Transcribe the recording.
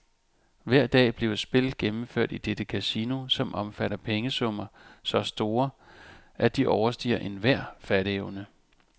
Hver dag bliver spil gennemført i dette kasino, som omfatter pengesummer så store, at de overstiger enhver fatteevne.